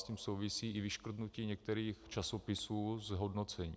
S tím souvisí i vyškrtnutí některých časopisů z hodnocení.